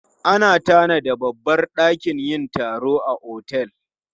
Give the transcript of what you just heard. Ana tanada babbar dakin yin taro a otel.